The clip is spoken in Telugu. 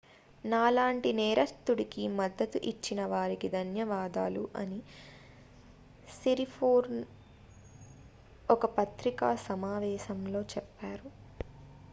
నాలాంటి నేరస్తుడికి మద్దతు ఇచ్చిన వారికి ధన్యవాదాలు అని సిరిపోర్న్ ఒక పత్రికా సమావేశంలో చెప్పారు